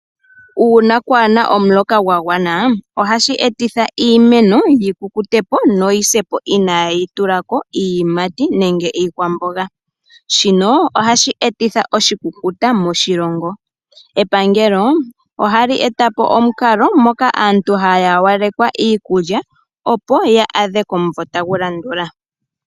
Uuna kwaa na omuloka gwa gwana ohashi etitha iimeno yi kukute po noyi se po inaayi tula ko iiyimati nenge iikwamboga. Shino ohashi etitha oshikukuta moshilongo. Epangelo ohali eta po omukalo moka aantu haya hawalekwa iikulya, opo ya adhe komumvo tagu landula.